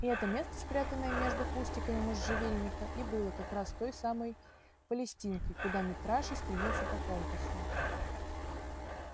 и это место спрятанное между кустиками можжевельника и было как раз той самой палестинкой куда митраша стремился по компасу